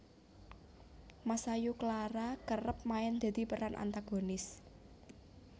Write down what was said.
Masayu Clara kerep main dadi peran antagonis